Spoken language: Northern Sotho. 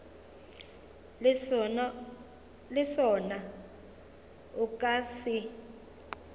le sona o ka se